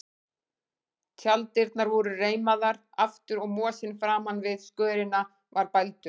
Tjalddyrnar voru reimaðar aftur og mosinn framan við skörina var bældur.